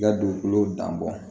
I ka dugukolo dan bɔ